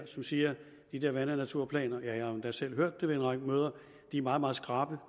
som siger at de der vand og naturplaner jeg har endda selv hørt det ved en række møder er meget meget skrappe og